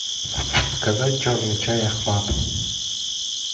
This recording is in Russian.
заказать черный чай ахмат